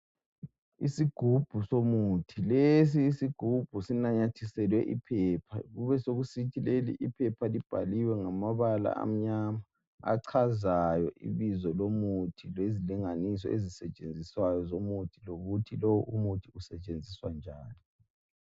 Isigubhu somuthi, lesi isigubhu sinanyathiselwe iphepha ,kube sokusithi leli I phepha libhaliwe ngamabala amnyama achazayo ibizo lomuthi lezilinganiso ezisetshenziswayo zomuthi , lokuthi lowu umuthi usetshenziswa njani